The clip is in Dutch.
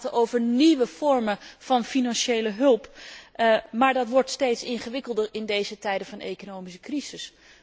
We kunnen praten over nieuwe vormen van financiële hulp, maar dat wordt steeds ingewikkelder in deze tijden van economische crisis.